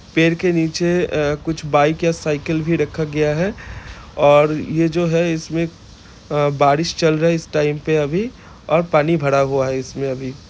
पेड़ के नीचे अ कुछ बाइक या साइकिल भी रखा गया है ओर ये जो है इसमें अ बारिश चल रहा है इस टाइम पे अभी और पानी भरा हुआ है इसमें अभी।